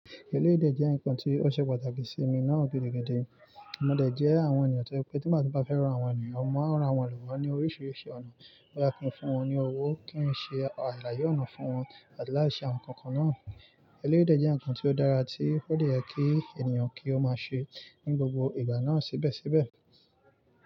Eléyìí jẹ́ ǹkan tí ó ṣe pàtàkì sí mi náà gidi gidi. Mo de jẹ́ àwọn ènìyàn tó pé tí màá bá fẹ́ rán àwọn ènìyàn, a máa ń ran àwọn lowọ̀ ní oríṣiríṣi ọ̀nà. Boyá kí n fún wọn ní owó, kí n ṣe àlàyé ọnà fún wọn àti láti ṣe ǹkan kan náà. Eléyè jẹ́ ǹkan tí ó dára tí ode yekí ènìyàn kí ó má ṣe ní gbogbo ìgbà náà sébẹ́sẹ́bẹ̀